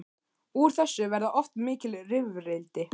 Úr þessu verða oft mikil rifrildi.